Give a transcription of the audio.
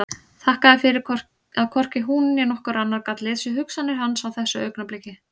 Þakkaði fyrir að hvorki hún né nokkur annar gat lesið hugsanir hans á þessu augnabliki.